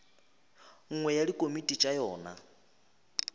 nngwe ya dikomiti tša yona